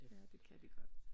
Ja det kan de godt